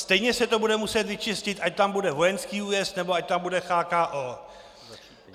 Stejně se to bude muset vyčistit, ať tam bude vojenský újezd, nebo ať tam bude CHKO.